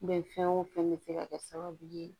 Bɛnfɛn wo fɛn be se ka kɛ sababu ye